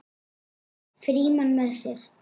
Frímann með sér.